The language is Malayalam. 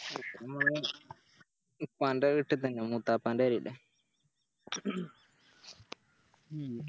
ഉപ്പാൻറെ വീട്ടിത്തന്നെയാ മൂത്തപ്പൻറെ പേരല്ലേ